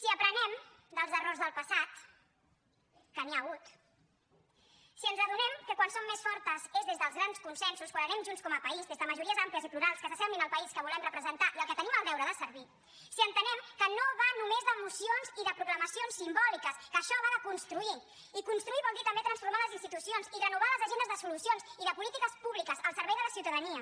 si aprenem dels errors del passat que n’hi ha hagut si ens adonem que quan som mes fortes és des dels grans consensos quan anem junts com a país des de majories àmplies i plurals que s’assemblin al país que volem representar i al qual tenim el deure de servir si entenem que no va només de mocions i de proclamacions simbòliques que això va de construir i construir vol dir també transformar les institucions i renovar les agendes de solucions i de polítiques públiques al servei de la ciutadania